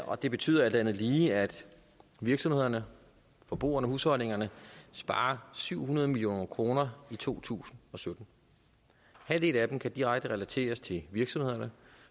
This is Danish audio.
og det betyder alt andet lige at virksomhederne forbrugerne husholdningerne sparer syv hundrede million kroner i to tusind og sytten halvdelen af dem kan direkte relateres til virksomhederne